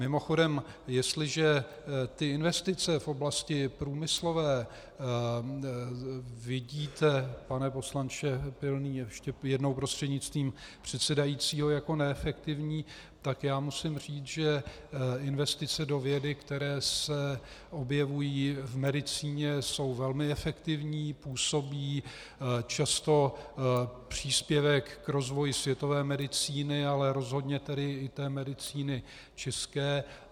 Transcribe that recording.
Mimochodem, jestliže ty investice v oblasti průmyslové vidíte, pane poslanče Pilný ještě jednou prostřednictvím předsedajícího, jako neefektivní, tak já musím říci, že investice do vědy, které se objevují v medicíně, jsou velmi efektivní, působí často příspěvek k rozvoji světové medicíny, ale rozhodně tedy i té medicíny české.